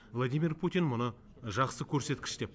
владимир путин мұны жақсы көрсеткіш деп